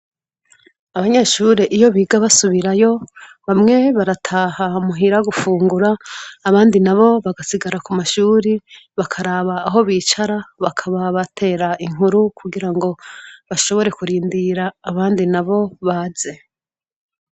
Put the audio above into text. Abanyeshure iyo biga basubirayo, bamwe barataha muhira gufungura, abandi nabo bagasigara kumashure bakaraba aho bicara bakaba batera inkuru kugira ngo bashobore kurindira abandi nabo baze.